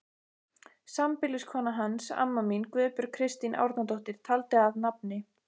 Sambýliskona hans, amma mín, Guðbjörg Kristín Árnadóttir, taldi að nafni